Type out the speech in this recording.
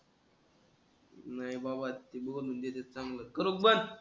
नाही बाबा ते बोलू देतात चांगलं. बरोबर.